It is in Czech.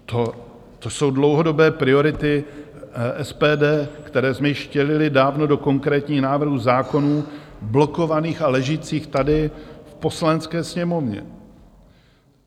To jsou dlouhodobé priority SPD, které jsme již vtělili dávno do konkrétních návrhů zákonů blokovaných a ležících tady v Poslanecké sněmovně.